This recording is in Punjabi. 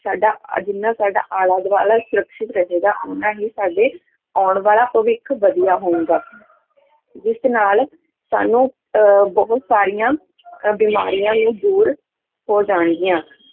ਸਾਡਾ ਆਹ ਜਿੰਨਾ ਸਾਡਾ ਆਲਾ ਦੁਆਲਾ ਹੀ ਸਰੱਖਿਅਤ ਰਹੇਗਾ ਓਨਾ ਹੀ ਸਾਡੇ ਆਉਣ ਵਾਲਾ ਭਵਿੱਖ ਵਧੀਆ ਹੋਵੇਗਾ ਜਿਸ ਨਾਲ ਸਾਨੂੰ ਅਹ ਬਹੁਤ ਸਾਰੀਆਂ ਅਹ ਬਿਮਾਰੀਆਂ ਨੂੰ ਦੂਰ ਹੋ ਜਾਣਗੀਆਂ